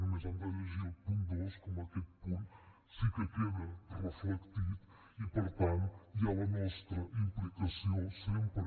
només han de llegir el punt dos com amb aquest punt sí que queda reflectit i per tant hi ha la nostra implicació sempre